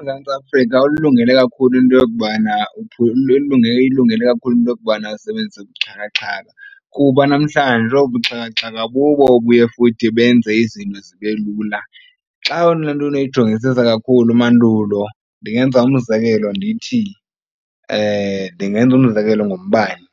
UMzantsi Afrika ulilungele kakhulu into yokubana uyilungele kakhulu into yokubana asebenzise ubuxhakaxhaka kuba namhlanje obu buxhakaxhaka bubo obuye futhi benze izinto zibe lula. Xa laa nto unoyijongisisa kakhulu mandulo ndingenza umzekelo ndithi ndingenza umzekelo ngombane.